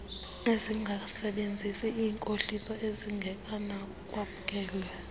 ezingasebenzisi iinkohliso ezingenakwamkela